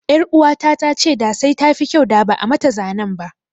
Ƴaruwata ta ce da sai tafi kyau da ba'a mata zanen ba.